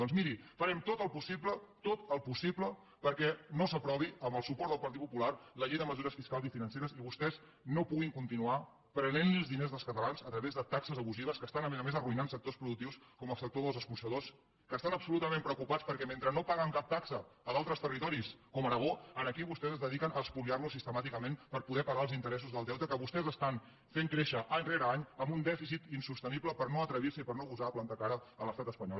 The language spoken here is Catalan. doncs miri farem tot el possible tot el possible perquè no s’aprovi amb el suport del partit popular la llei de mesures fiscals i financeres i que vostès no puguin continuar prenent els diners dels catalans a través de taxes abusives que estan a més a més arruïnant sectors productius com el sector dels escorxadors que estan absolutament preocupats perquè mentre no paguen cap taxa a d’altres territoris com aragó aquí vostès es dediquen a espoliar los sistemàticament per poder pagar els interessos del deute que vostès estan fent créixer any rere any amb un dèficit insostenible perquè no s’atreveixen i perquè no gosen a plantar cara a l’estat espanyol